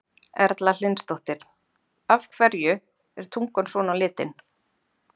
Erla Hlynsdóttir: Af hverju er tungan svona á litinn?